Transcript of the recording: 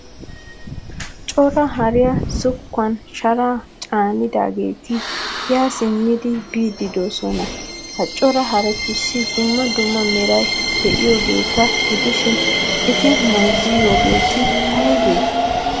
Cora hariyaa zokkuwan sharaa caanidogeeti yaa simmidi biidi deosna. Ha cora harettussi dumma dumma meray de'iyogetta gidishin eti bayzziyogetteye? aybe?